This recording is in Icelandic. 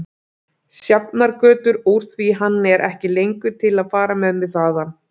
Sjafnargötu úr því hann er ekki lengur til að fara með mig þaðan.